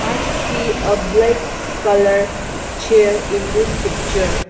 I see a black colour chair in this picture.